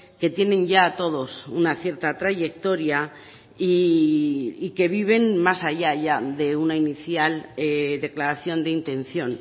que tienen ya todos una cierta trayectoria y que viven más allá ya de una inicial declaración de intención